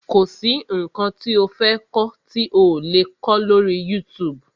Kọ̀ sí nǹkan tí o fẹ́ kọ́ tí ò le kó lọ́rí YouTube.